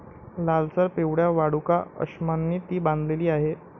लालसर पिवळ्या वाळूकाअश्मांनी ती बांधलेली आहे.